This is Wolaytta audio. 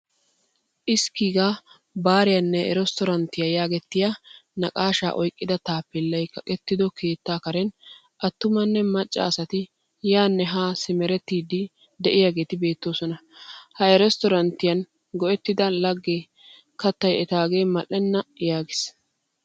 Iskiga baariyaane resttoranttiyaa yaagettettiyaa naaqashshaa oyqqida taappelay kaqqettido keettaa karen attumane macca asatti yaane haa simerettidi deiyagetti beetoosona. Ha resttoranttiyan go'ettidaa laggee kattay ettage mal'eena yaagiis.